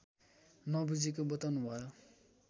नबुझेको बताउनुभयो